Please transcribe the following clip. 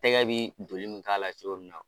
Tɛgɛ bɛ doli min k'a la cogo min na.